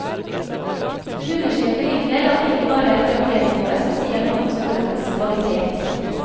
Hun understreker likevel at det ikke bare er karakternivået som sier noe om skolenes kvalitet.